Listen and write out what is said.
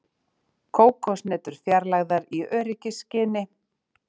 Kókoshnetur fjarlægðar í öryggisskyni